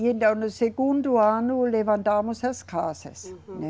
E então no segundo ano levantamos as casas. Uhum. Né?